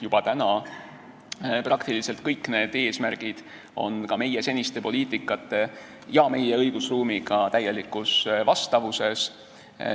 Juba täna on peaaegu kõik need eesmärgid ka meie senise poliitika ja meie õigusruumiga täielikus vastavuses.